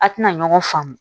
A tɛna ɲɔgɔn faamu